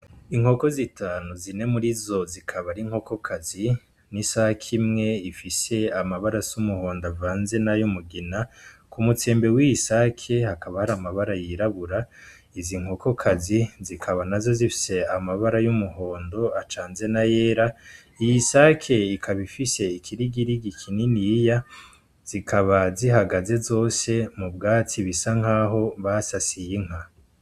Inkoko zitanu zine muri zo zikaba ari nkokokazi n'isake imwe ifise amabara s'umuhondo avanze na yo umugina ku mutembe w'isake hakabari amabara yirabura izi nkokokazi zikaba na zo zifise amabara y'umuhondo acanze na yera iyo isake ikabifishe kirigirigi kinini iya zikaba zihagaze zose mu bwatsi bisa nk'aho basasiye inka.